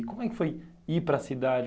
E como é que foi ir para a cidade?